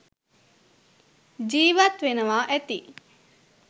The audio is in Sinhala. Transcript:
ජීවත් වෙනවා ඇති.